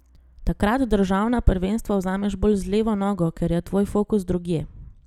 Takrat državna prvenstva vzameš bolj z levo nogo, ker je tvoj fokus drugje.